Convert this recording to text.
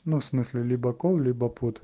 ну всмысле либо кол либо пот